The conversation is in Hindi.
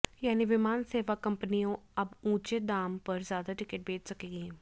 यानी विमान सेवा कंपनियाँ अब ऊँचे दाम पर ज्यादा टिकट बेच सकेंगी